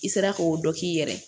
I sera k'o dɔ k'i yɛrɛ ye